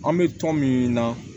An bɛ tɔn min na